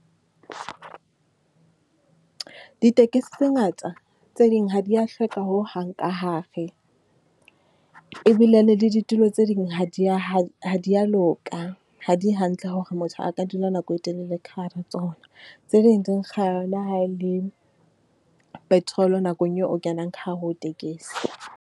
Ditekesi tse ngata, tse ding ha di ya hlweka hohang ka hare. Ebile le ditulo tse ding ha di ya, ha di ya loka. Ha di hantle hore motho a ka dula nako e telele ka hare ho tsona. Tse ding di nkga le ha e le petrol nakong eo o kenang ka hare ho tekesi.